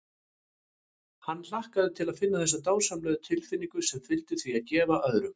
Hann hlakkaði til að finna þessa dásamlegu tilfinnigu sem fylgir því að gefa öðrum.